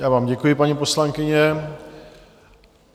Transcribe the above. Já vám děkuji, paní poslankyně.